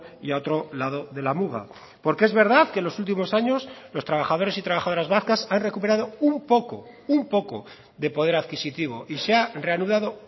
y a otro lado de la muga porque es verdad que los últimos años los trabajadores y trabajadoras vascas han recuperado un poco un poco de poder adquisitivo y se ha reanudado